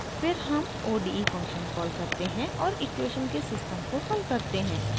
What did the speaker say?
फिर हम ode function call करते हैं और इक्वेशन के सिस्टम को हल करते हैं